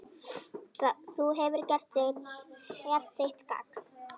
Þú hefur gert þitt gagn.